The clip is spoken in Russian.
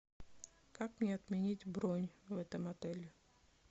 как мне отменить бронь в этом отеле